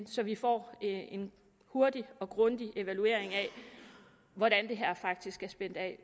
så vi får en hurtig og grundig evaluering af hvordan det her faktisk er spændt af